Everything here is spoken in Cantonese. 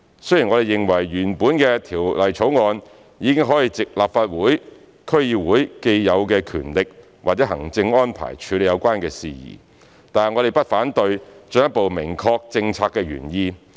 雖然我們認為原本的《條例草案》已可藉立法會/區議會既有的權力或行政安排處理有關事宜，但我們不反對進一步明確政策原意。